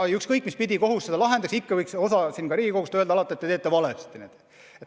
Aga ükskõik mis pidi kohus selle ka ei lahendaks, ikka võiks osa Riigikogust öelda, et te tegite valesti.